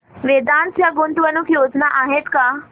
वेदांत च्या गुंतवणूक योजना आहेत का